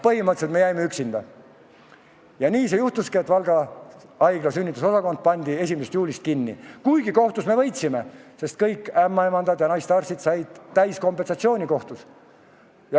Põhimõtteliselt me jäime üksinda ja nii siis juhtuski, et Valga haigla sünnitusosakond pandi 1. juulist kinni, kuigi kohtus me võitsime, kõik ämmaemandad ja naistearstid said kohtust täiskompensatsiooni.